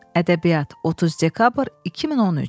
Ədəbiyyat 30 dekabr 2013.